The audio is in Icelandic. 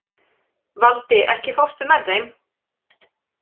Valdi, ekki fórstu með þeim?